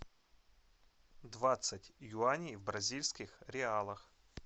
двадцать юаней в бразильских реалах